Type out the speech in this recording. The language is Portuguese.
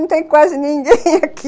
Não tem quase ninguém aqui.